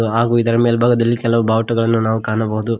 ಹಾಗು ಇದರ ಮೇಲ್ಭಾಗದಲ್ಲಿ ಕೆಲವು ಬಾವುಟಗಳನ್ನು ನಾವು ಕಾಣಬಹುದು.